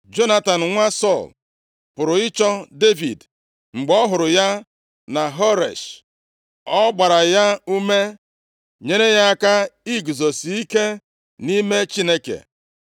Jonatan, nwa Sọl pụrụ ịchọ Devid. Mgbe ọ hụrụ ya na Horesh, ọ gbara ya ume, nyere ya aka iguzosi ike nʼime Chineke.